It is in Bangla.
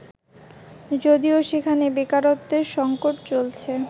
যদিও সেখানে বেকারত্বের সংকট চলছে